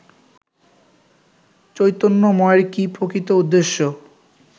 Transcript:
চৈতন্যময়ের কি প্রকৃত উদ্দেশ্য